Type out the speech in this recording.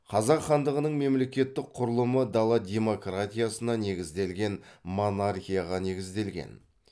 қазақ хандығының мемлекеттік құрылымы дала демократиясына негізделген монархияға негізделген